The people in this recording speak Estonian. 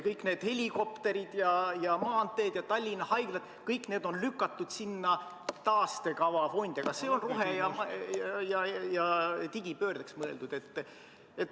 Kõik need helikopterid ja maanteed ja Tallinna Haigla – kõik need on lükatud taaskäivitamisfondi alla, aga see raha on rohe- ja digipöördeks mõeldud.